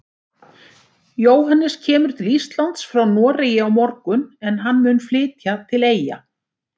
Jóhannes kemur til Íslands frá Noregi á morgun en hann mun flytja til Eyja.